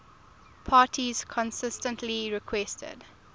parties consistently requested